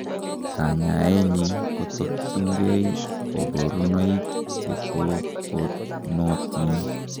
Kanyaenyin kotokyinkei koborunoik chetoponotin.